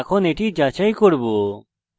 এখন এটি যাচাই করব